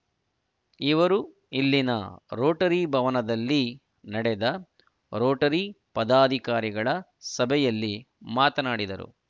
ಇವರು ಇಲ್ಲಿನ ರೋಟರಿ ಭವನದಲ್ಲಿ ನಡೆದ ರೋಟರಿ ಪದಾಧಿಕಾರಿಗಳ ಸಭೆಯಲ್ಲಿ ಮಾತನಾಡಿದರು